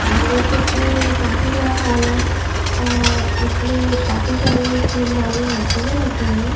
आप देख सकते हैंये काफी बड़ा हॉल है और इसमें काफी सारी जिम वाली मशीनें रखी हुई हैं।